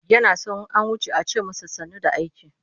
Yana son in an wuce a ce masa sannu da aiki.